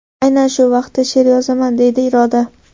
Aynan shu vaqtda she’r yozaman”, deydi Iroda.